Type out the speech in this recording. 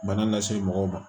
Bana lase mɔgɔw ma